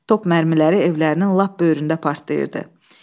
Top mərmiləri evlərinin lap böyründə partlayırdı.